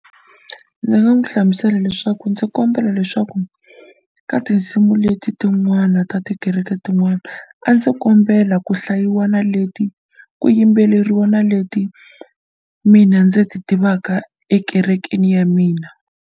Ndzi nga n'wi hlamusela leswaku ndzi kombela leswaku ka tinsimu leti tin'wana ta tikereke tin'wana a ndzi kombela ku hlayiwa na leti ku yimbeleriwa na leti mina ndzi ti tivaka ekerekeni ya mina.